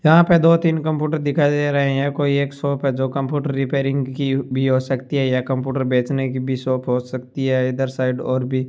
यहाँ पे दो तीन कम्प्यूटर दिखाई दे रहे हैं कोई एक शॉप हैं जो कम्प्यूटर रिपेयरिंग कि भी हो सकती हैं या कम्प्यूटर बेचने की भी शॉप हो सकती है इधर साइड और भी --